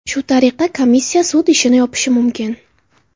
Shu tariqa komissiya sud ishini yopishi mumkin.